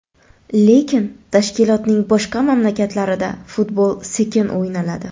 Lekin tashkilotning boshqa mamlakatlarida futbol sekin o‘ynaladi.